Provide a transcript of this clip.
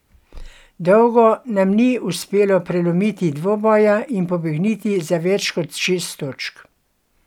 Dolgo nam ni uspelo prelomiti dvoboja in pobegniti za več kot šest točk.